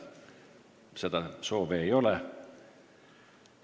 Seda soovi ei ole.